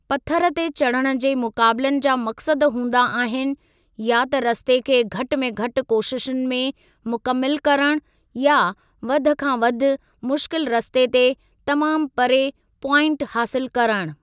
पथरु ते चढ़णु जे मुक़ाबलनि जा मक़सदु हूंदा आहिनि या त रस्ते खे घटि में घटि कोशिशुनि में मुकमिलु करणु या वधि खां वधि मुश्किल रस्ते ते तमामु परे प्वाइंट हासिलु करणु।